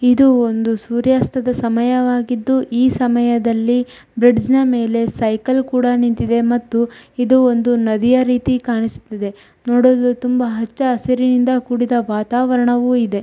ಇದು ಒಂದು ಸೂರ್ಯಾಸ್ತದ ಸಮಯವಾಗಿದ್ದು ಈ ಸಮಯದಲ್ಲಿ ಬ್ರಿಡ್ಜ್ ಮೇಲೆ ಸೈಕಲ್ ಕೂಡ ನಿಂತಿದೆ ಮತ್ತು ಇದು ಒಂದು ನದಿಯ ರೀತಿ ಕಾಣಿಸ್ತಿದೆ ನೋಡಲು ತುಂಬಾ ಹಚ್ಚ ಹಸಿರಿನಿಂದ ಕೂಡಿದ ವಾತಾವರಣವೂ ಇದೆ .